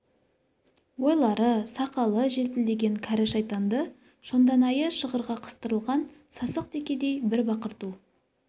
ойлары сақалы желпілдеген кәрі шайтанды шонданайы шығырға қыстырылған сасық текедей бір бақырту